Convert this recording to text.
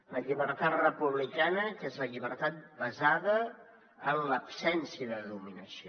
la llibertat republicana que és la llibertat basada en l’absència de dominació